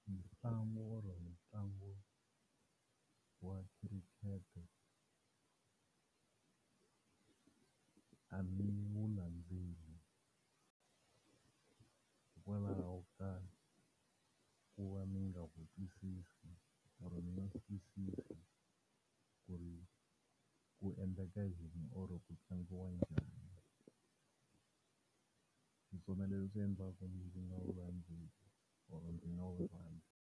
Mitlangu or-o ntlangu wa cricket a ni wu landzeli hikwalaho wo ka ku va ni nga wu twisisi or-o ku ri ku endleka yini or-o ku tlangiwa njhani. Hiswona leswi endlaka ni nga wu landzeli or-o ni nga wu rhandzi.